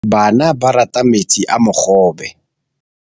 Bana ba rata metsi a mogobe.